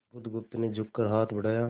बुधगुप्त ने झुककर हाथ बढ़ाया